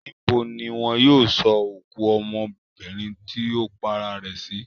Níbo ni wọn yóò sọ òkú ọmọbìnrin tì ó para rẹ̀ sí?